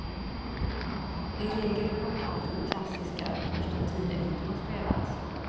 I regel blir hockeymatcher klassiska först en tid efter de spelats.